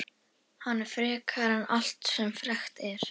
Hann er frekari en allt sem frekt er.